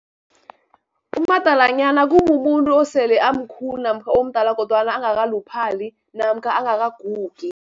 Umadalanyana kumumuntu osele amkhulu, namkha omdala, kodwana angakaluphali namkha angakagugi.